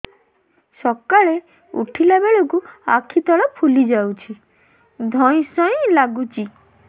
ସକାଳେ ଉଠିଲା ବେଳକୁ ଆଖି ତଳ ଫୁଲି ଯାଉଛି ଧଇଁ ସଇଁ ଲାଗୁଚି